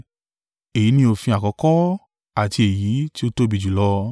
Èyí ni òfin àkọ́kọ́ àti èyí tí ó tóbi jùlọ.